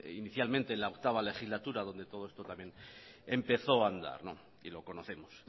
inicialmente en la octava legislatura donde todo esto también empezó a andar y lo conocemos